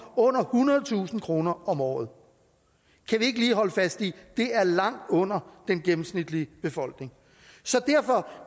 under ethundredetusind kroner om året kan vi ikke lige holde fast i at det er langt under den gennemsnitlige befolknings så derfor